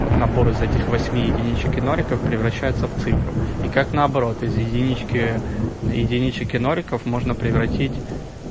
вот набор из этих восьми единичек и ноликов превращается в цифру и как наоборот вот из единички единичек и ноликов можно превратить